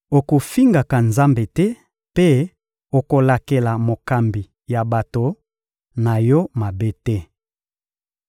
Okofingaka Nzambe te mpe okolakelaka mokambi ya bato na yo mabe te.